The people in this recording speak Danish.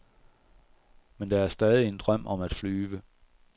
Men der er stadig en drøm om at flyve.